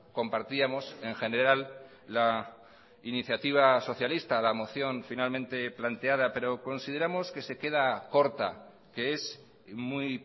compartíamos en general la iniciativa socialista la moción finalmente planteada pero consideramos que se queda corta que es muy